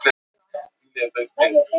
Skarpan hafa þeir skólann undir hendi.